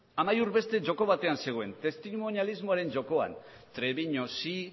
amaiur beste joko batean zegoen testimonialismoaren jokoan treviño sí